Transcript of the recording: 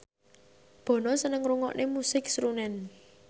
Bono seneng ngrungokne musik srunen